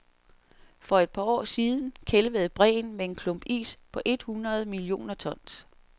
For et par år siden kælvede bræen med en klump is på et hundrede millioner tons.